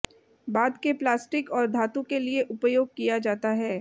बाद के प्लास्टिक और धातु के लिए उपयोग किया जाता है